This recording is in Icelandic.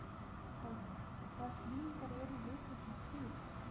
Pálmi, hvaða sýningar eru í leikhúsinu á þriðjudaginn?